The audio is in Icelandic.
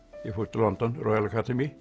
ég fór til London